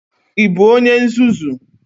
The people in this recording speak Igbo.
Ị bụ onye nzuzu?